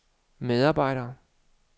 medarbejder